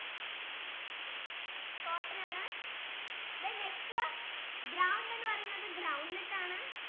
cotton ആണ് then next ground എന്ന് പറയുന്നത് groundnut ആണ്